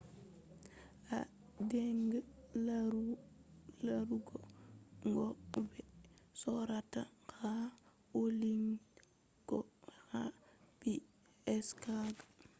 a dinga larugo ko be sorrata ha online ko ha window shago